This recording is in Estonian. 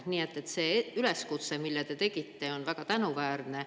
Nii et see üleskutse, mille te tegite, on väga tänuväärne.